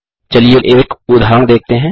चलिए एक उदाहरण देखते हैं